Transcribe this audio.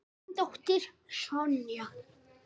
Þín dóttir, Sonja.